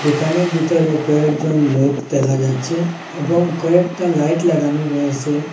দোকানের ভিতরে কয়েকজন লোক দেখা যাচ্ছে এবং কয়েকটা লাইট লাগানো রয়েসে।